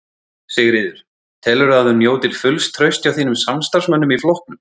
Sigríður: Telurðu að þú njótir fulls trausts hjá þínum samstarfsmönnum í flokknum?